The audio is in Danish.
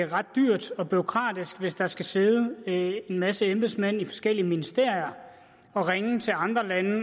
ret dyrt og bureaukratisk hvis der skal sidde en masse embedsmænd i forskellige ministerier og ringe til andre lande